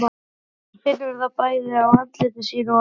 Hún finnur það bæði á andliti sínu og lærum.